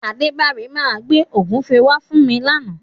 Adébára máa gbé ògúnfe wá fún mi làna.